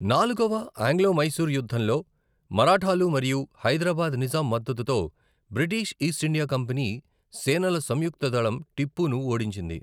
నాలుగవ ఆంగ్లో మైసూర్ యుద్ధంలో, మరాఠాలు మరియు హైదరాబాద్ నిజాం మద్దతుతో బ్రిటిష్ ఈస్ట్ ఇండియా కంపెనీ సేనల సంయుక్త దళం టిప్పును ఓడించింది.